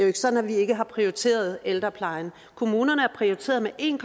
ikke sådan at vi ikke har prioriteret ældreplejen kommunerne er prioriteret med en